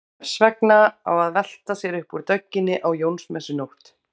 Hvers vegna á að velta sér upp úr dögginni á Jónsmessunótt?